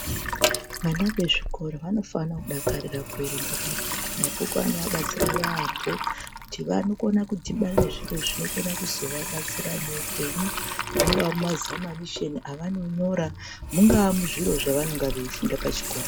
Vana ve zvikora vanofana kudakarira ku erenga mabhuku mabhuku anova batsira yamho kuti vanokona ku dhibana nezviro zvinokona kuzo vabatsira mu upenyu mungaa muma zamanisheni avano nyora munga muzviro zvavano funda pa chikora.